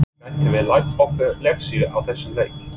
Getum við lært okkar lexíu á þessum leik?